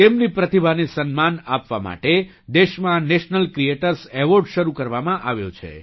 તેમની પ્રતિભાને સન્માન આપવા માટે દેશમાં નેશનલ ક્રીએટર્સ એવૉર્ડ શરૂ કરવામાં આવ્યો છે